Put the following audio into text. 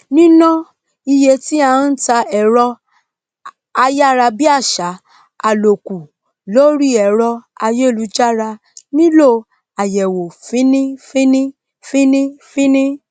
níná iye tí à n ta èrọ ayàrabíàsá àlòkù lórí èrọ ayélujára nílò àyèwò fínfín fínfín